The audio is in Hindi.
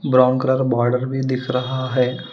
ब्राउन कलर बॉर्डर भी दिख रहा है।